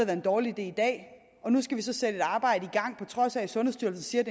en dårlig idé i dag og nu skal vi så sætte et arbejde i gang på trods af at sundhedsstyrelsen siger